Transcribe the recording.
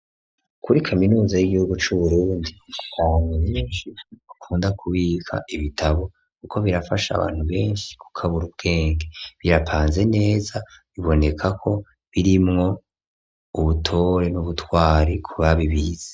Kuri kaminuza y'igihugu c'uburungi konninshi ukunda kubika ibitabo, kuko birafasha abantu benshi ku kabura ubwenge birapanze neza biboneka ko birimwo uwutore n'ubutwari kubabi ibiza.